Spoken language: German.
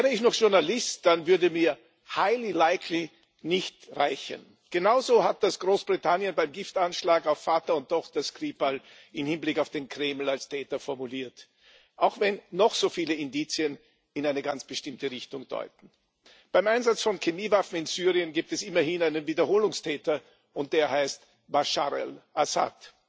Wäre ich noch Journalist, dann würde mir nicht reichen genau so hat das Großbritannien beim Giftanschlag auf Vater und Tochter Skripal im Hinblick auf den Kreml als Täter formuliert auch wenn noch so viele Indizien in eine ganz bestimmte Richtung deuten. Beim Einsatz von Chemiewaffen in Syrien gibt es immerhin einen Wiederholungstäter, und der heißt Bashar al Assad.